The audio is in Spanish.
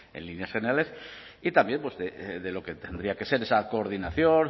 en líneas generales y también de lo que tendría que ser esa coordinación